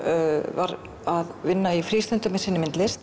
var að vinna í frístundum í sinni myndlist